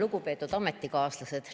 Lugupeetud ametikaaslased!